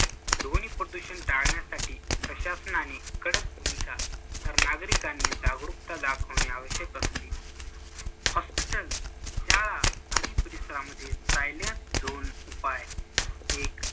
ध्वनिप्रदूषण टाळण्यासाठी प्रशासनाने कडक भूमिका, तर नागरिकांनी जागरूकता दाखवणे आवश्यक असते. hospitals, शाळा आदीं परिसरांमध्ये zone उपाय. एक